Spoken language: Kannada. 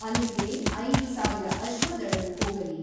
ಅಲ್ಲಿಗೆ ಐದು ಸಾವಿರ ಅಶ್ವದಳವು ಹೋಗಲಿ.